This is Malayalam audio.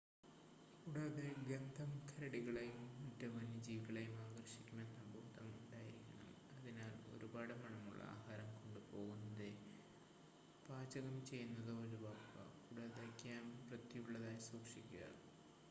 കൂടാതെ ഗന്ധം കരടികളെയും മറ്റ് വന്യജീവികളെയും ആകർഷിക്കുമെന്ന ബോധം ഉണ്ടായിരിക്കണം അതിനാൽ ഒരുപാട് മണമുള്ള ആഹാരം കൊണ്ട് പോകുന്നതോ പാചകം ചെയ്യുന്നതോ ഒഴിവാക്കുക കൂടാതെ ക്യാംപ് വൃത്തിയുള്ളതായി സൂക്ഷിക്കുക